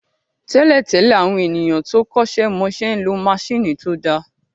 Tẹ́lẹ̀ tẹ́lẹ̀, àwọn ènìyàn tó kọ́ṣẹ́ mọṣẹ́ ń lo maṣíìnì tó dáa